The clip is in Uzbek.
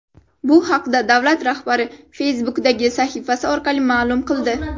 Bu haqda davlat rahbari Facebook’dagi sahifasi orqali ma’lum qildi .